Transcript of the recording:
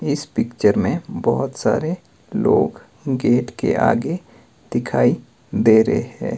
इस पिक्चर में बहोत सारे लोग गेट के आगे दिखाई दे रहे है।